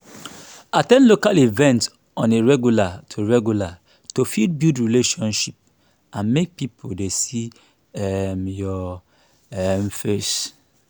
at ten d local events on a regular to regular to fit build relationship and make pipo dey see um your um face